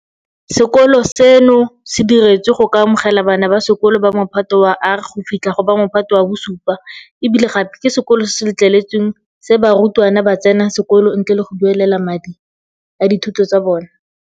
Sekolo seno se diretswe go ka amogela bana ba sekolo ba Mophato wa R go fitlha go ba Mophato wa bo 7 e bile gape ke sekolo se se letleletsweng se barutwana ba tsenang sekolo ntle le go duelela madi a dithuto tsa bona.